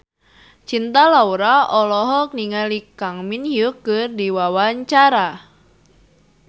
Cinta Laura olohok ningali Kang Min Hyuk keur diwawancara